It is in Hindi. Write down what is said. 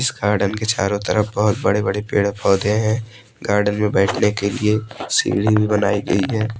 इस गार्डन के चारो तरफ बहोत बड़े बड़े पेड़ पोधै हैं गार्डन में बैठने के लिए सीडी भी बनाई गई है।